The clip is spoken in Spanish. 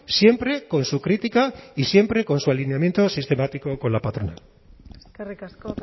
siempre con su crítica y siempre con su alineamiento sistemático con la patronal eskerrik asko